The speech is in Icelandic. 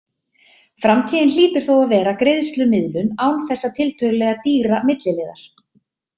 Framtíðin hlýtur þó að vera greiðslumiðlun án þessa tiltölulega dýra milliliðar.